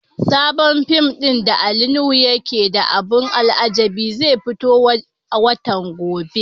Sabon fim din da Ali Nuhu yake da abun alajabi zai fito a watan gobe.